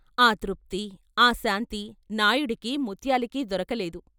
ఆ తృప్తి, ఆ శాంతి నాయుడుకి ముత్యాలుకి దొరకలేదు.